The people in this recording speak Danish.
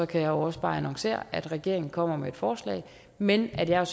kan jeg også bare annoncere at regeringen kommer med et forslag men at jeg